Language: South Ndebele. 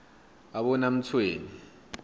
abonamtshweni